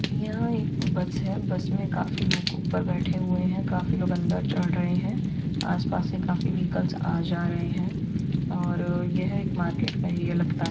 यहा एक बस है। बस मे काफी लोग ऊपर बैठे हुए है काफी लोग अंदर चढ़ रहे है। आसपास ही काफी वेहिकल्स आ-जा रहे है और यह एक मार्केट का एरिया लगता है।